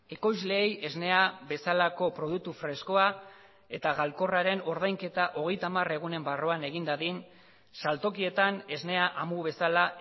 ekoizleei esnea bezalako produktu freskoa eta galkorraren ordainketa hogeita hamar egunen barruan egin dadin saltokietan esnea amu bezala